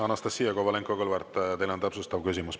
Anastassia Kovalenko-Kõlvart, teil on täpsustav küsimus.